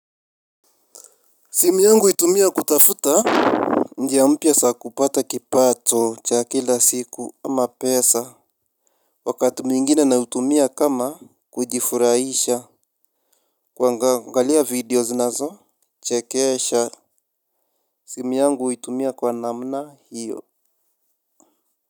Simu yangu huitumia kutafuta. Njia mpya za kupata kipato cha kila siku ama pesa. Wakati mwingine naitumia kama kujifurahisha. Kuangalia video zinazochekesha. Simu yangu huitumia kwa namna hiyo.